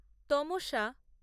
তমোশা